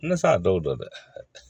Ne sa dɔw do dɛ